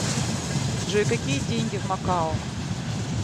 джой какие деньги в макао